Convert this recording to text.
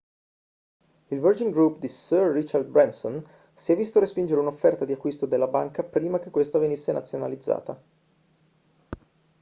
il virgin group di sir richard branson si è visto respingere un'offerta di acquisto della banca prima che questa venisse nazionalizzata